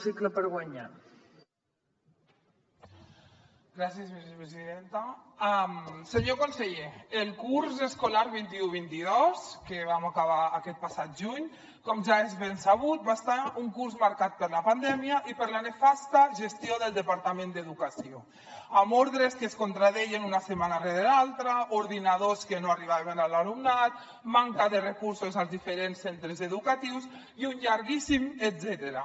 senyor conseller el curs escolar vint un vint dos que vam acabar aquest passat juny com ja és ben sabut va ser un curs marcat per la pandèmia i per la nefasta gestió del departament d’educació amb ordres que es contradeien una setmana rere l’altra ordinadors que no arribaven a l’alumnat manca de recursos als diferents centres educatius i un llarguíssim etcètera